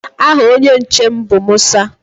Aha onye nche m bụ Musa.